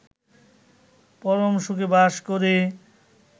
পরম সুখে বাস করে